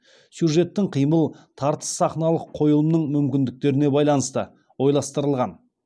сюжеттік қимыл тартыс сахналық қойылымның мүмкіндіктеріне байланысты ойластырылған